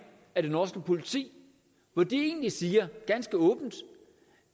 af det norske politi hvor de egentlig siger